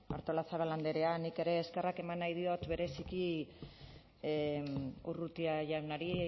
artolazabal andrea nik eskerrak eman nahi diot bereziki urrutia jaunari